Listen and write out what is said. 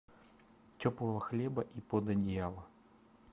теплого хлеба и под одеяло